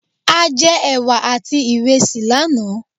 A jẹ ẹwà àti iresi lánàá.